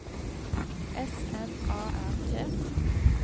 S M A R T